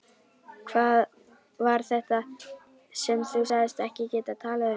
Var það þetta sem þú sagðist ekki geta talað um?